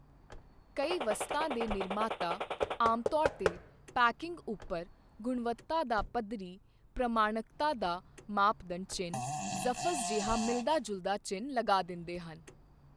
ਕਈ ਵਸਤਾਂ ਦੇ ਨਿਰਮਾਤਾ ਆਮਤੌਰ ਤੇ ਪੈਕਿੰਗ ਉੱਪਰ ਗੁਣਵੱਤਾ ਦਾ ਪੱਧਰੀ ਪ੍ਰਮਾਣਕਤਾ ਦਾ ਮਾਪਦੰਡ ਚਿੰਨ੍ਹ ਜ਼ਫ਼ਜ਼ ਜਿਹਾ ਮਿਲਦਾ ਜੁਲਦਾ ਚਿੰਨ੍ਹ ਲੱਗਾ ਦਿੰਦੇ ਹਨ।